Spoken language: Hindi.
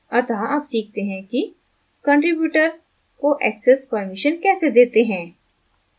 अतः अब सीखते हैं कि कंट्रीब्यूटर को access permission कैसे देते हैं